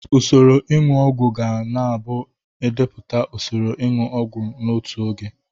Usoro ịṅụ ọgwụ ga na abụ idepụta usoro inu ogwu n'otu oge.